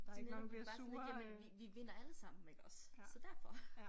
Så kan man være bare sådan lidt jamen vi vi vinder alle sammen iggås så derfor